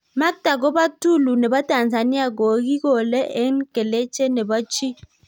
Maktab kobo tulu nebo Tanzania, koikole en keleje nebo chi.